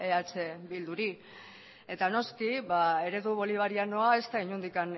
eh bilduri eta noski eredu bolivarianoa ez da inondik